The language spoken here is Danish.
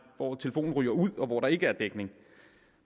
hvor telefonen ryger ud og hvor der ikke er dækning